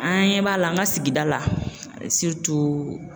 An ɲɛ b'a la an ka sigida la